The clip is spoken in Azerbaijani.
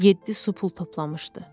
Yeddi su pul toplamışdı.